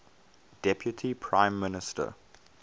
deputy prime minister